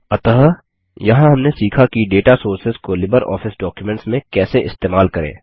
अतः यहाँ हमने सीखा कि डेटा सोर्सेस को लिबरऑफिस डॉक्युमेंट्स में कैसे इस्तेमाल करें